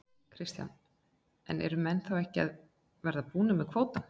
Kristján: En eru menn þá ekki að verða búnir með kvótann?